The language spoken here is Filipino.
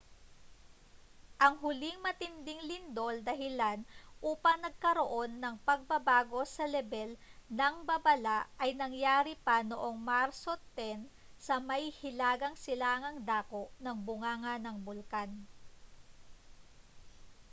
ang huling matinding lindol dahilan upang nagkaroon ng pagbabago sa lebel ng babala ay nangyari pa noong marso 10 sa may hilagang silangang dako ng bunganga ng bulkan